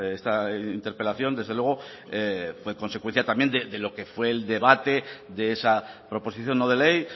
esta interpelación desde luego fue consecuencia también de lo que fue el debate de esa proposición no de ley